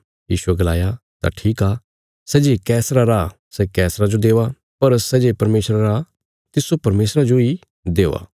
यीशुये गलाया तां ठीक आ सै जे कैसरा रा सै कैसरा जो दवा पर सै जे परमेशरा रा तिस्सो परमेशरा जोई दवा